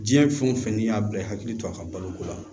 Diɲɛ fɛn o fɛn n'i y'a bila i hakili to a ka baloko la